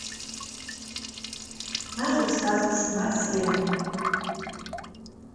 однажды в сказке седьмая серия